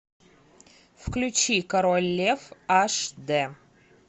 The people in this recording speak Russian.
включи король лев аш дэ